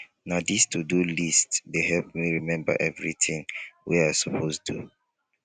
na dis todo list dey help me remember everytin wey i suppose do